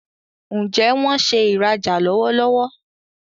Njé wón ṣe ìrajà lọwọlọwọ?